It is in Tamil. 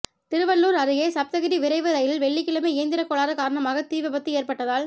திருவள்ளூர் அருகே சப்தகிரி விரைவு ரயிலில் வெள்ளிக்கிழமை இயந்திரக்கோளாறு காரணமாக தீ விபத்து ஏற்பட்டதால்